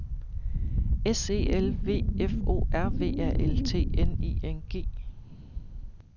S E L V F O R V A L T N I N G